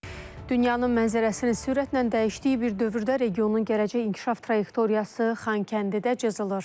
Dünyanın mənzərəsini sürətlə dəyişdiyi bir dövrdə regionun gələcək inkişaf trayektoriyası Xankəndidə cızılır.